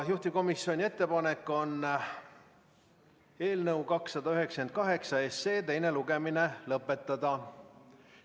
Juhtivkomisjoni ettepanek on eelnõu 298 teine lugemine lõpetada.